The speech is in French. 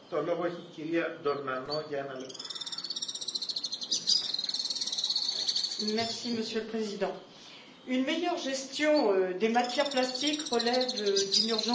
Monsieur le Président, une meilleure gestion des matières plastiques relève d'une urgence absolue quand on sait que plus de 150 millions de tonnes de plastiques se trouveraient dans les océans.